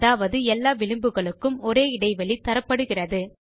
அதாவது எல்லா விளிம்புகளுக்கும் ஒரே இடைவெளி தரப்படுகிறது